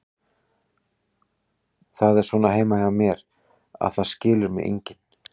Það er svona heima hjá mér, að það skilur mig enginn.